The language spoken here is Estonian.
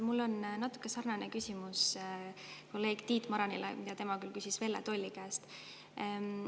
Mul on natuke sarnane küsimus kolleeg Tiit Marani omaga, tema küll küsis Velle Tolli käest.